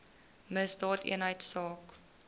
misdaadeenheidsaak